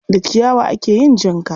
Da ciyawa ake yin jinka.